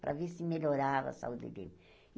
Para ver se melhorava a saúde dele.